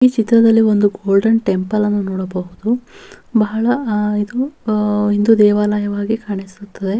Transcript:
ಈ ಚಿತ್ರದಲ್ಲಿ ಒಂದು ಗೋಲ್ಡನ್ ಟೆಂಪಲ್ ಅನ್ನು ನೋಡಬಹುದು ಬಹಳ ಆಹ್ಹ್ ಇದು ಆ ಹಿಂದೂ ದೇವಾಲಯವಾಗಿ ಕಾಣಿಸುತ್ತದೆ.